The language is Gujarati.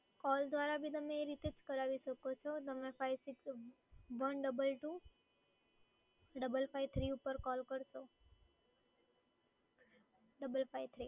કૉલ દ્વારા બી તમે એ રીતે જ કરાવી શકો છો તમે five six one double two double five three ઉપર કૉલ કરશો